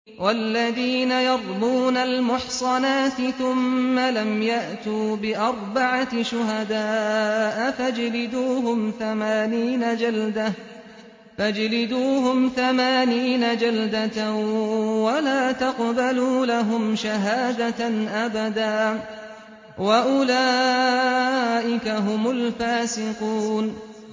وَالَّذِينَ يَرْمُونَ الْمُحْصَنَاتِ ثُمَّ لَمْ يَأْتُوا بِأَرْبَعَةِ شُهَدَاءَ فَاجْلِدُوهُمْ ثَمَانِينَ جَلْدَةً وَلَا تَقْبَلُوا لَهُمْ شَهَادَةً أَبَدًا ۚ وَأُولَٰئِكَ هُمُ الْفَاسِقُونَ